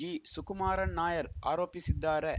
ಜಿಸುಕುಮಾರನ್‌ ನಾಯರ್‌ ಆರೋಪಿಸಿದ್ದಾರೆ